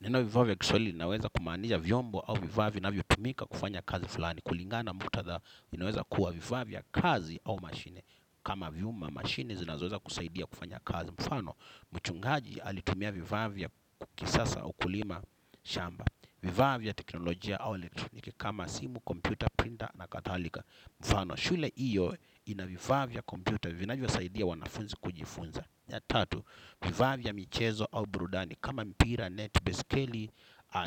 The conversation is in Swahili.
Neno vifaa kwa kiswahili linaweza kumaanisha vyombo au vifaa vinavyotumika kufanya kazi fulani. Kulingana muktadha inaweza kuwa vifaa vya kazi au mashine. Kama vyuma machine zinazoweza kusaidia kufanya kazi. Mfano, mchungaji alitumia vifaa vya kisasa kulima shamba. Vifaa vya teknolojia au elektroniki kama simu, kompyuta, printer na kadhalika. Mfano, shule hiyo ina vifaa vya kompyuta vinavyosaidia wanafunzi kujifunza. Ya tatu, vifaa vya michezo au burudani kama mpira, net, baiskeli